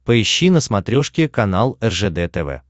поищи на смотрешке канал ржд тв